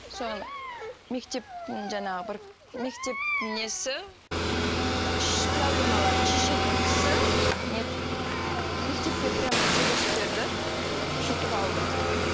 соны мектептің жаңағы бір мектептің несі проблемаларын шешетін кісі мектеппен прямой сөйлесіп бердім сөйтіп алды